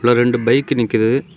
இதுல ரெண்டு பைக் நிக்குது.